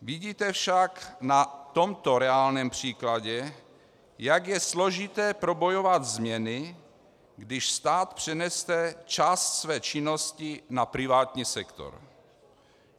Vidíte však na tomto reálném příkladu, jak je složité probojovat změny, když stát přenese část své činnosti na privátní sektor.